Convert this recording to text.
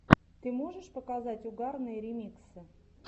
ты можешь показать угарные ремиксы